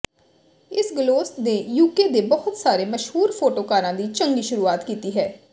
ਇਸ ਗਲੋਸ ਨੇ ਯੂਕੇ ਦੇ ਬਹੁਤ ਸਾਰੇ ਮਸ਼ਹੂਰ ਫੋਟੋਕਾਰਾਂ ਦੀ ਚੰਗੀ ਸ਼ੁਰੂਆਤ ਕੀਤੀ ਹੈ